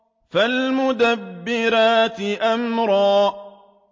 فَالْمُدَبِّرَاتِ أَمْرًا